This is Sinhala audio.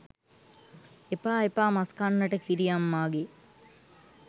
එපා එපා මස් කන්නට කිරි අම්මාගේ